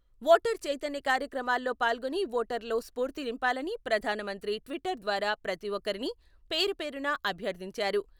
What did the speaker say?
Voter చైతన్య కార్యక్రమాల్లో పాల్గొని ఓటర్ల లో స్ఫూర్తి నింపాలని ప్రధాన మంత్రి ట్విట్టర్ ద్వారా ప్రతి ఒక్కరిని పేరు పేరున అభ్యర్థించారు.